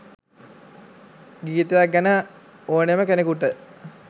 ගීතයක් ගැන ඕනෙම කෙනෙකුට